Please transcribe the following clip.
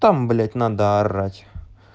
там блять надо орать